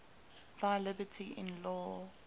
thy liberty in law